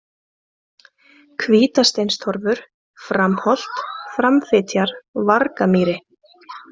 Hvítasteinstorfur, Framholt, Framfitjar, Vargamýri